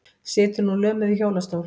Situr nú lömuð í hjólastól.